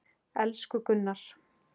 Elsku Gunnar!